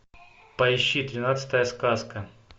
поищи тринадцатая сказка